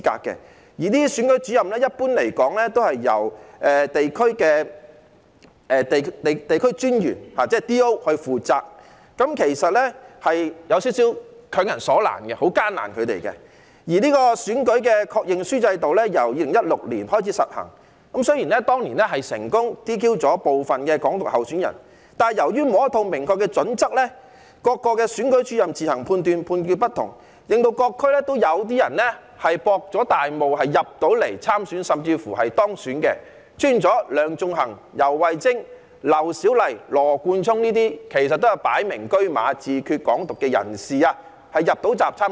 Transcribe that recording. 一般而言，這些選舉主任都是由民政事務專員，即 DO 出任，其實這樣做有點強人所難，是很為難他們的；而選舉確認書制度由2016年開始實行，雖然當年成功 "DQ" 部分提倡"港獨"的候選人，但由於沒有一套明確準則，各選舉主任自行決定，判斷亦有不同，令各區也有些人成功"博大霧"參選甚至當選，出現了梁頌恆、游蕙禎、劉小麗和羅冠聰這些擺明車馬主張自決、"港獨"的人能夠入閘參選。